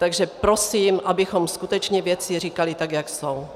Takže prosím, abychom skutečně věci říkali tak, jak jsou.